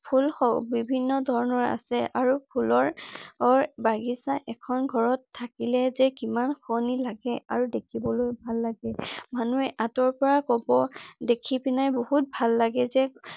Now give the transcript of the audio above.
ফুল বিভিন্ন ধৰণৰ আছে । আৰু ফুলৰ বাগিচা এখন ঘৰত থাকিলে যে কিমান শুৱনি লাগে আৰু ‌দেখিবলৈও ভাল লাগে। মানুহে আঁতৰৰ পৰা ক'ব দেখিপিনে বহুত ভাল লাগে যে ।